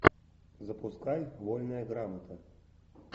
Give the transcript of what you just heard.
запускай вольная грамота